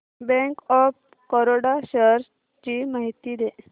bank of Baroda shares ची माहिती दे